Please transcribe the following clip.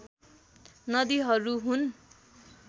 नदीहरू हुन्